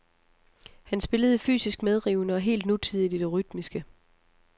Han spillede fysisk medrivende og helt nutidigt i det rytmiske.